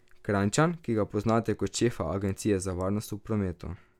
Kranjčan, ki ga poznate kot šefa Agencije za varnost v prometu.